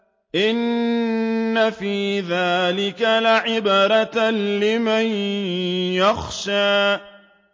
إِنَّ فِي ذَٰلِكَ لَعِبْرَةً لِّمَن يَخْشَىٰ